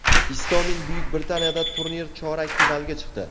Istomin Buyuk Britaniyadagi turnir chorak finaliga chiqdi.